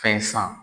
Fɛn san